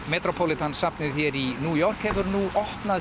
metropolitan safnið hér í New York hefur nú opnað